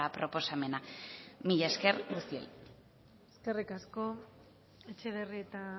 proposamena mila esker guztioi eskerrik asko etxebarrieta